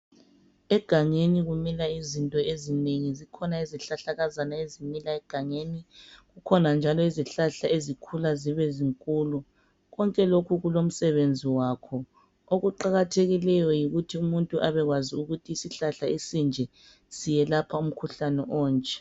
Egangeni kumila izinto ezinengi zikhona izihlahlakazana ezimila egangeni kukhona njalo izihlahla ezikhula zibe zinkulu. Konke lokhu kulomsebenzi wakho okuqakathekileyo yikuthi umuntu abekwazi ukuthi isihlahla esinje siyelapha umkhuhlane onje.